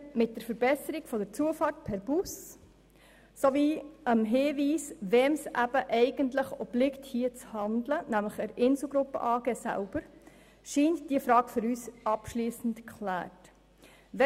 Mit der Verbesserung der Zufahrt per Bus sowie dem Hinweis, wem es eben eigentlich hier zu handeln obliegt, nämlich der Insel Gruppe AG selber, scheint diese Frage für uns abschliessend geklärt zu sein.